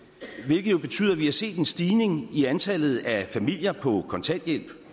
hvilket jo betyder at vi har set en stigning i antallet af familier på kontanthjælp